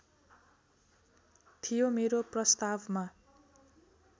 थियो मेरो प्रस्तावमा